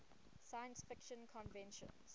science fiction conventions